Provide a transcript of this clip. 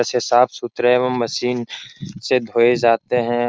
से साफ-सुथरे एवम मशीन से धोए जाते हैं --